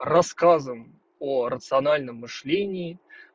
рассказом о рациональном мышлении